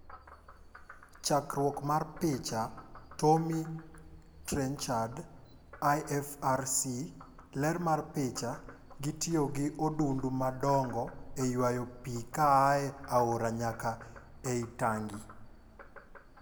Chakruok mar picha, Tommy Trenchard / IFRC . Ler mar picha, Gitiyo gi odundu madongo e ywayo pii koa e aora nyaka ei tangi.